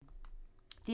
DR1